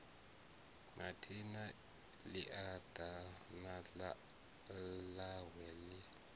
mathina ḽia ḓana ḽawe ḽi